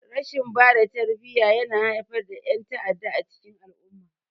Rashin bada tarbiyya yana haifar da yan'ta'adda a cikin al-umma.